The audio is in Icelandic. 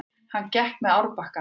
Hann gekk með árbakkanum.